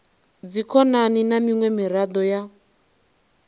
dzikhonani na miṅwe miraḓo ya